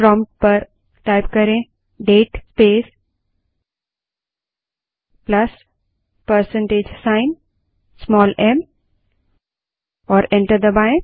prompt पर date space plus percentage sign small m type करें और एंटर दबायें